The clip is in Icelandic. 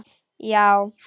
Já